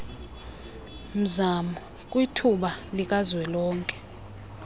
mzamo kwithuba likazwelonke